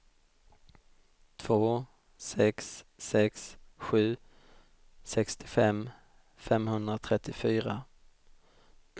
två sex sex sju sextiofem femhundratrettiofyra